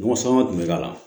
Mɔgɔ saba tun bɛ k'a la